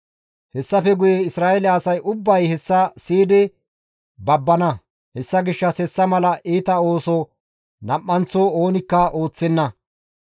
Hessafe guye Isra7eele asay ubbay hessa siyidi babbana; hessa gishshas hessa mala iita ooso nam7anththo oonikka ooththenna.